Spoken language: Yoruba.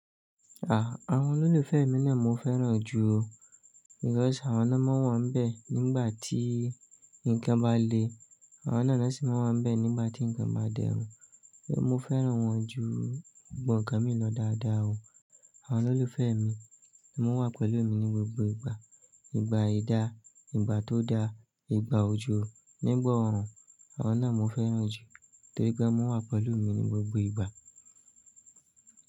Àwọn olólùfẹ́ mi na mò ń fẹ́ràn jù o. Because àwọn lo máa ń wà níbẹ̀ nígbà tí nǹkan bá le. Àwọn náà lo sì máa wà níbẹ̀ nígbà tí nǹkan bá dẹrùn. Mo fẹ́ràn wọn ju gbogbo nkan mi lọ dáadáa o. Àwọn olólùfẹ́ mi ni wọ́n wà pẹ̀lú mi ní gbogbo ìgbà. Ìgbà ìdá, ìgbà tó da, ìgbà òjò, nígbà erùn. Àwọn náà mo fẹ́ràn jù torí pé wọ́n wà pẹ̀lú mi ní gbogbo ìgbà.